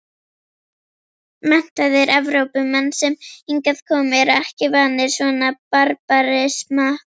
Menntaðir Evrópumenn sem hingað koma eru ekki vanir svona barbarisma.